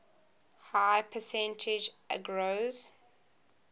high percentage agarose